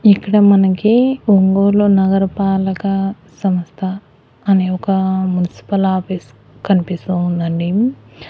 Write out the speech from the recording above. ఇక్కడ మనకి ఒంగోలు నగరపాలక సంస్థ అనే ఒక మున్సిపల్ ఆఫీస్ కనిపిస్తూ ఉందండి.